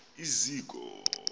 iziko